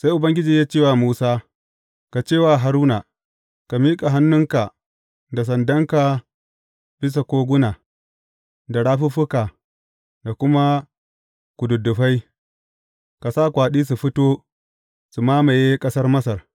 Sai Ubangiji ya ce wa Musa, Ka ce wa Haruna, Ka miƙa hannunka da sandanka bisa koguna da rafuffuka da kuma kududdufai, ka sa kwaɗi su fito su mamaye ƙasar Masar.’